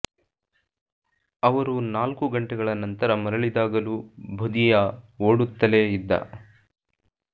ಅವರು ನಾಲ್ಕು ಗಂಟೆಗಳ ನಂತರ ಮರಳಿದಾಗಲೂ ಬುಧಿಯಾ ಓಡುತ್ತಲೇ ಇದ್ದ